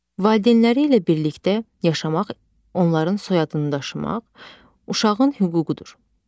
Valideynləri ilə birlikdə yaşamaq, onların soyadını daşımaq uşağın hüququdur.